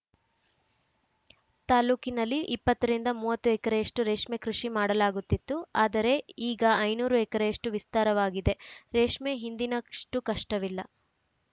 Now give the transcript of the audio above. ತಾಲೂಕಿನಲ್ಲಿ ಇಪ್ಪತ್ತ ರಿಂದ ಮೂವತ್ತು ಎಕರೆಯಷ್ಟು ರೇಷ್ಮೆಕೃಷಿ ಮಾಡಲಾಗುತ್ತಿತ್ತು ಆದರೆ ಈಗ ಐನೂರು ಎಕರೆಯಷ್ಟುವಿಸ್ತಾರವಾಗಿದೆ ರೇಷ್ಮೆ ಹಿಂದಿನಷ್ಟುಕಷ್ಟವಿಲ್ಲ